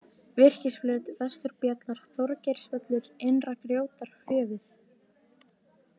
Virkisflöt, Vesturbjallar, Þorgeirsvöllur, Innra-Grjótárhöfuð